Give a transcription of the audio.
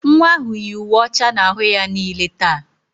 Nwa ahụ yi uwe ọcha n'ahụ ya niile taa.